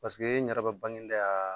Parceseke ɲɛnaraba bange dɛ yan